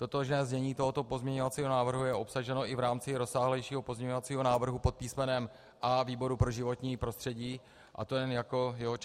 Totožné znění tohoto pozměňovacího návrhu je obsaženo i v rámci rozsáhlejšího pozměňovacího návrhu pod písmenem A výboru pro životní prostředí, a to jen jako jeho část.